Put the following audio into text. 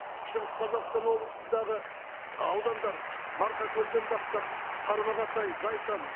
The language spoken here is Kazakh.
шығыс қазақстан облысындағы аудандар марқакөлден бастап тарбағатай зайсан